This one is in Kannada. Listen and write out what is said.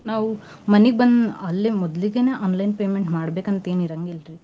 ನಾವು ಮನೀಗ್ ಬಂ~ ಅಲ್ಲೆ ಮೊದ್ಲಿಗೆನೇ online payment ಮಾಡ್ಬೇಕಂತ ಎನ್ ಇರಂಗಿಲ್ರಿ